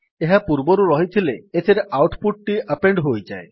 ଏହା ପୂର୍ବରୁ ରହିଥିଲେ ଏଥିରେ ଆଉଟ୍ ପୁଟ୍ ଟି ଆପେଣ୍ଡ୍ ହୋଇଯାଏ